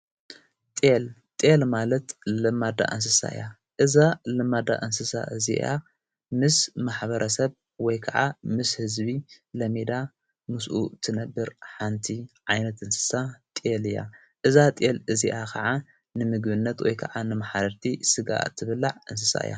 ጢል ጢል ማለት ለማዳ እንስሳ እያ እዛ ለማዳ እንስሳ እዚኣ ምስ ማኅበረ ሰብ ወይ ከዓ ምስ ሕዝቢ ለሜዳ ምስኡ ትነብር ሓንቲ ዓይነት እንስሳ ጢል እያ እዛ ጢል እዚኣ ኸዓ ንምግነት ወይ ከዓ ንመሓረርቲ ሥጋ እትብላዕ እንስሳ እያ።